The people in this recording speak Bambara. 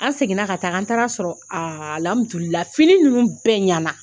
An seginna ka taa an taara sɔrɔ a lamidu lahi fini ninnu bɛɛ ɲinana.